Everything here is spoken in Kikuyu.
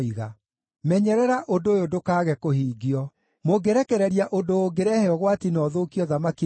Menyerera ũndũ ũyũ ndũkaage kũhingio. Mũngĩrekereria ũndũ ũngĩrehe ũgwati na ũthũkie ũthamaki nĩkĩ?